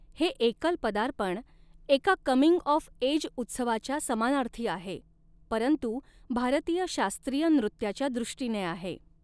हे एकल पदार्पण एका कमिंग ऑफ एज उत्सवाच्या समानार्थी आहे, परंतु भारतीय शास्त्रीय नृत्याच्या दृष्टीने आहे.